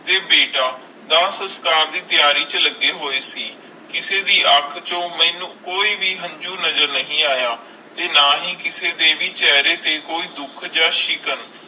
ਤੇ ਬੀਟਾ ਅੰਤਿਮਸੰਸਕਾਰ ਦੇ ਤਿਆਰੀ ਚ ਲੱਗੀ ਹੋਏ ਸੀ ਕਿਸੀ ਦੇ ਅਣਖ ਜੋ ਮੇਨੂ ਕੋਈ ਹੰਜੂ ਨਜ਼ਰ ਨਹੀਂ ਆਯਾ ਨਾ ਹੈ ਕਿਸੀ ਦੇ ਚੇਹਰੇ ਤੇ ਦੁੱਖ ਆ ਸ਼ਿਕਾਂ